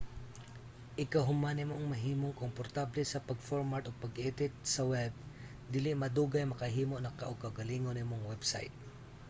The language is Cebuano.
igka human nimong mahimong komportable sa pag-format ug pag-edit sa web dili madugay makahimo naka og kaugalingon nimong website